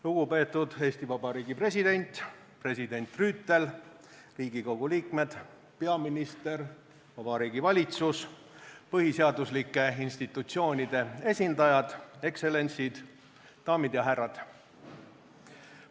Lugupeetud Eesti Vabariigi president, president Rüütel, Riigikogu liikmed, peaminister, Vabariigi Valitsus, põhiseaduslike institutsioonide esindajad, ekstsellentsid, daamid ja härrad!